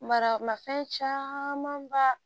Mara ma fɛn caman ba